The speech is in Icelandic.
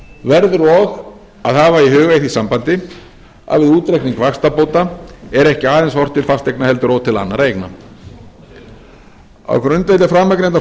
verður og að hafa í huga í því sambandi að við útreikning vaxtabóta er ekki aðeins horft til fasteigna heldur og til annarra eigna á grundvelli framangreindra